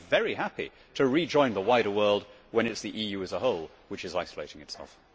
I would be very happy to rejoin the wider world when it is the EU as a whole which is isolating itself.